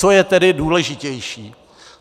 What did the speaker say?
Co je tedy důležitější?